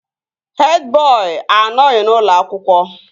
Hed bọị anọghị n'ụlọ akwụkwọ